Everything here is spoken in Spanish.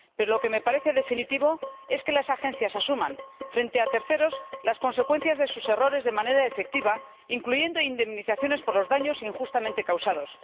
Pero lo que me parece definitivo es que las agencias asuman, frente a terceros, las consecuencias de sus errores de manera efectiva, incluyendo indemnizaciones por los daños injustamente causados.